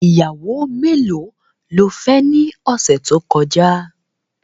Ìyàwó melo ló fẹ́ ni ọ̀sẹ̀ tó kọjá?.